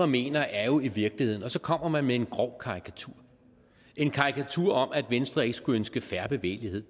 mener er jo i virkeligheden og så kommer man med en grov karikatur en karikatur om at venstre ikke skulle ønske fair bevægelighed